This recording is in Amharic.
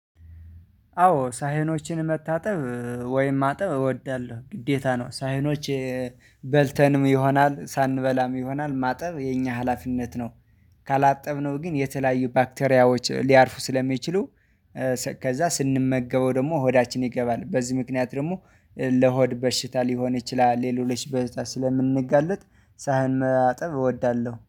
አዎ ሳህኖችን መታጠብ ወይም ማጠብ እወዳለሁ ግዴታ ነው። ሳህኖች በልተንም ይሆናል ሳንበላም ይሆናል ማጠብ የኛ ሀላፊነት ነው። ካላጠብነው ግን የተለያዩ ባክቴሪያዎች ሊያርፉ ስለሚችሉ። ከዛ ስንመገበው ደግሞ ሆዳችን ይገባል። በዚህ ምክንያት ደግሞ ለሆድ በሽታ ሊሆን ይችላል ለሌሎች በሽታ ስለምንጋለጥ ሳህን መጠብ እወዳለሁ